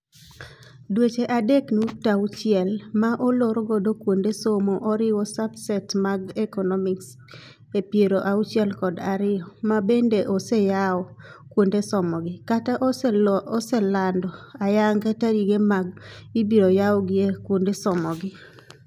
Dweche adek nukta auchi-el ma olor godo kuonde somo oriwo subsets mag economies epiero auchiel kod ariyo ma bende oseyao kuonde somo gi, kata oselando ayanga tarige ma ibiro yawyie kuonde somo gi.